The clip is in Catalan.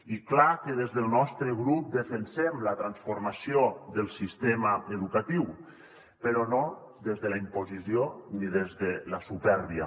i és clar que des del nostre grup defensem la transformació del sistema educatiu però no des de la imposició ni des de la supèrbia